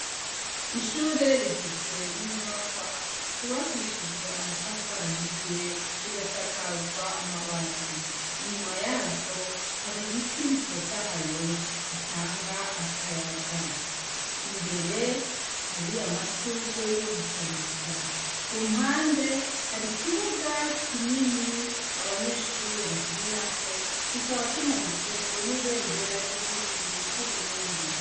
Ishure rigizwe n'inyubakwa zubakishijwe amatafari ahiye, zigasakazwa amabati. Inyuma yazo, hari ibiti bitotahaye bitanga akayaga. Imbere, hari amashurwe yo gushariza. Ku mpande, hari ikibuga kinini abanyeshure bakinirako kikaba kimanitsweko n'ibendera ry'igihugu c'uburundi.